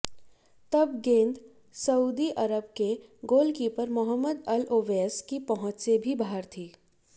तब गेंद Saudi Arab के गोलकीपर मोहम्मद अल ओवैस की पहुंच से भी बाहर थी